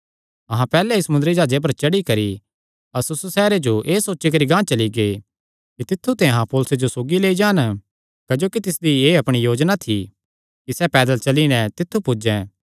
अहां पैहल्ले ई समुंदरी जाह्जे पर चढ़ी करी अस्सुस सैहरे जो एह़ सोची करी गांह चली गै कि तित्थु ते अहां पौलुसे जो सौगी लेई जान क्जोकि तिसदी एह़ अपणी योजना थी कि सैह़ पैदल चली नैं तित्थु पुज्जें